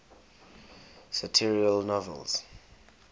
satirical novels